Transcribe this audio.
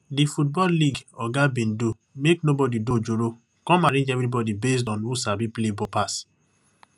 di football league oga bin do make nobody do ojoro come arrange everybody based on who sabi play ball pass